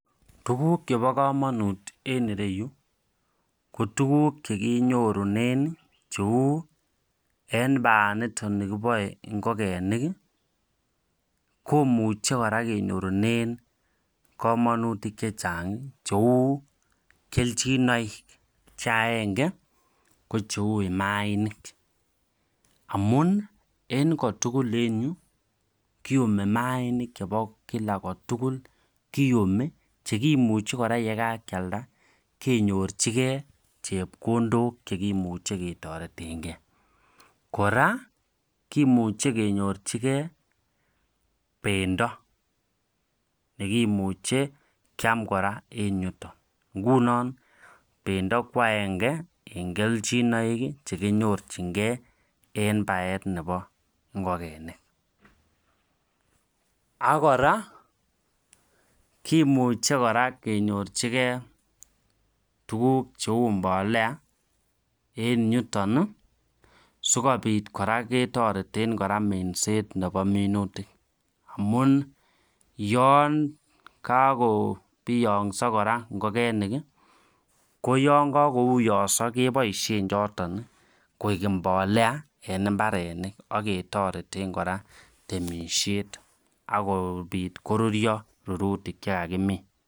Tukuk chebo kamanut en iro yu ko tukuk chekinyorunen eng baanitok bo ngokenik komuche kora kenyorunen makutik chechang cheu keljinoik Che agenge kocheu mainik amun en agenge kotukul en yu kiumi mainik Che kimuchi yekakealda kenyorchikei chepkondok chekimuchi ketoretenkei kora kemoche kenyorchikei pendo nekimuche keam kora en yuton ngunon pendo kwa agenge ak keljinoik alak chekinyorunen baet ab ngokenik ak komuche kora kenyorchikei tukuk cheu mbolea keboishe en minutik yekakobiangso ngokenik keboishe choton koek en mbolea en mbarenik